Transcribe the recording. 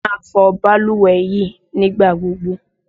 Máa fọ balùwẹ̀ yìí ní ìgbà gbogbo!